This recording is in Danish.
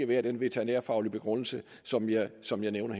været den veterinærfaglige begrundelse som jeg som jeg nævnte